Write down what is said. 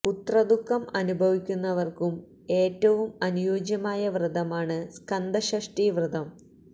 പുത്ര ദുഖം അനുഭവിക്കുന്നവര്ക്കും ഏറ്റവും അനുയോജ്യമായ വ്രതമാണ് സ്കന്ദ ഷഷ്ഠി വ്രതം